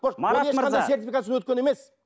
марат мырза өткен емес